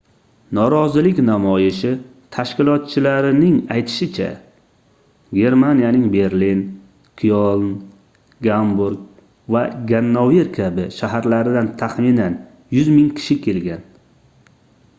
norozilik namoyishi tashkilotchilarining aytishicha germaniyaning berlin kyoln gamburg va gannover kabi shaharlaridan taxminan 100 000 kishi kelgan